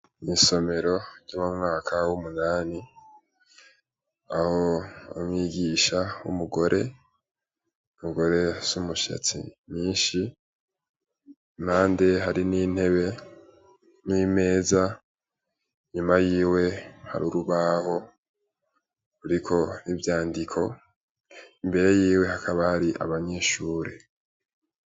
Mwisomero ry'abamwaka w'umunyani aho bamwigisha w'umugore mugore z'umushatsi nyinshi imande hari n'intebe n'imeza nyuma yiwe hari urubaho uriko vyandiko imbere yiwe hakabari abanyeshure.